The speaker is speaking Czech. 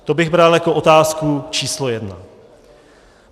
To bych bral jako otázku číslo jedna.